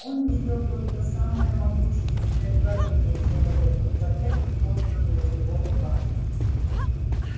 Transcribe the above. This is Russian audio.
он видел только самое могущественное творение человека планету созданную его руками